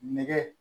Nɛgɛ